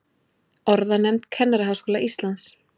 Orðanefnd Kennaraháskóla Íslands.